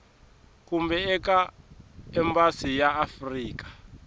kumbe eka embasi ya afrika